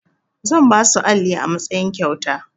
Zan basu alli a matsayin kyauta.